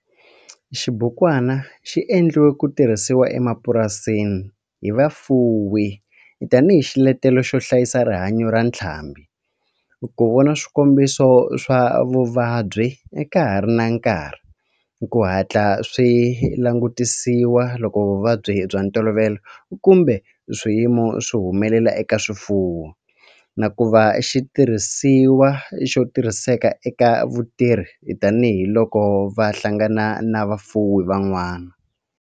Xibukwana xi endliwe ku tirhisiwa emapurasini hi vafuwi tani hi xiletelo xo hlayisa rihanyo ra ntlhambhi, ku vona swikombiso swa vuvabyi ka ha ri na nkarhi ku hatla swi langutisiwa loko vuvabyi bya ntolovelo kumbe swiyimo swi humelela eka swifuwo, na ku va xitirhisiwa xo tirhiseka eka vatirhi tani hi loko va hlangana na vafuwi van'wana.